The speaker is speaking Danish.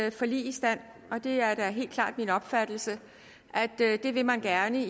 et forlig i stand og det er da helt klart min opfattelse at det vil man gerne